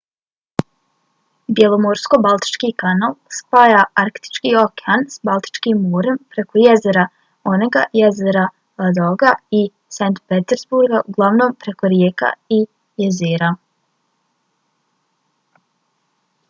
bjelomorsko-baltički kanal spaja arktički okean s baltičkim morem preko jezera onega jezera ladoga i saint petersburga uglavnom preko rijeka i jezera